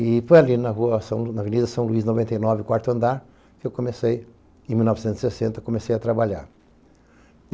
E foi ali na rua, Avenida São Luís noventa e nove, quarto andar, que eu comecei, em mil novecentos e sessenta, comecei a trabalhar.